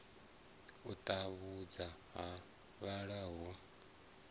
u tambudzwa ha vhalala hu